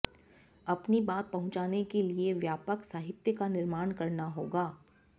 अपनी बात पहुंचाने के लिए व्यापक साहित्य का निर्माण करना होगा